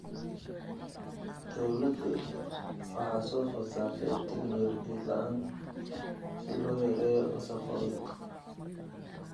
Dawladdu waxa soo food saartay tignoolajiyad la�aan si loo yareeyo wasakhowga.